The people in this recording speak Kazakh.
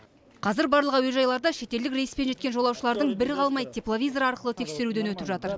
қазір барлық әуежайларда шетелдік рейспен жеткен жолаушылардың бірі қалмай тепловизор арқылы тексеруден өтіп жатыр